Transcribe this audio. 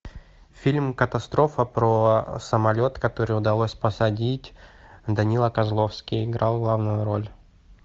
фильм катастрофа про самолет который удалось посадить данила козловский играл главную роль